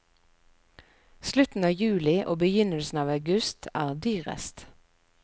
Slutten av juli og begynnelsen av august er dyrest.